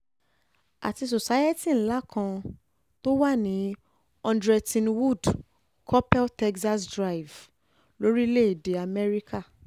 àti society ńlá kan ńlá kan tó wà ní hundred ttonwood coppel texas drive lórílẹ̀-èdè amẹ́ríkà